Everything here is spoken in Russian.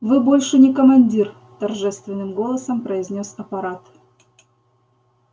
вы больше не командир торжественным голосом произнёс аппарат